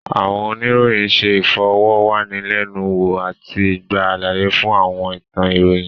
Àwọn oníròyìn ṣé ìfọ̀rọ̀wánilẹ́nuwò àti gba àlàyé fún àwọn ìtàn ìròyìn